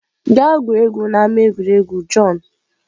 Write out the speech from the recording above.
gaa gwuo egwu n'ama egwuregwu john!